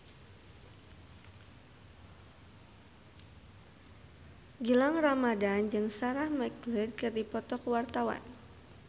Gilang Ramadan jeung Sarah McLeod keur dipoto ku wartawan